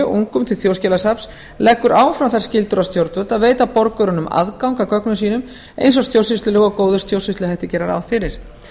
ungum til þjóðskjalasafns leggur áfram þær skyldur á stjórnvöld að veita borgurunum aðgang að gögnum sínum eins og stjórnsýslulög og góðir stjórnsýsluhættir gera ráð fyrir